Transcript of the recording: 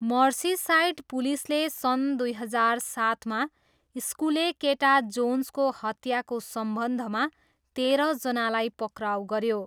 Merseyside पुलिसले सन् दुई हजार सातमा स्कुले केटा जोन्सको हत्याको सम्बन्धमा तेह्रजनालाई पक्राउ गऱ्यो।